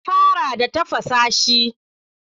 Na fara da tafasa shi.